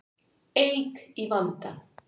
Eik í vanda